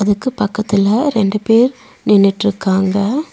அதுக்கு பக்கத்துல ரெண்டு பேர் நின்னுட்ருக்காங்க.